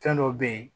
Fɛn dɔw be ye